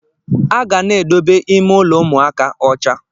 Aga na-edobe ime ụlọ ụmụaka ọcha.